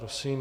Prosím.